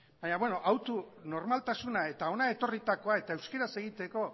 baina beno autu normaltasuna eta hona etorritakoa eta euskaraz egiteko